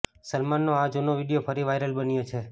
સલમાનનો આ જુનો વીડિયો ફરી વાઇરલ બન્યો છે